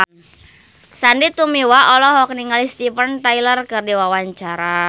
Sandy Tumiwa olohok ningali Steven Tyler keur diwawancara